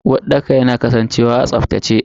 Uwarɗaka yana kasancewa a tsaftace.